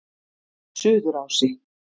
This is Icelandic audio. Suðurási